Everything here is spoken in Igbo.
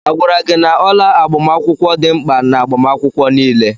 Agwara gị na ọla agbamakwụkwọ dị mkpa n'agbamakwụkwọ niile?